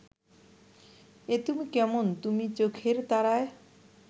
এ তুমি কেমন তুমি চোখের তারায়